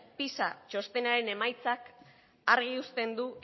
pisa txostenaren emaitzak argi uzten du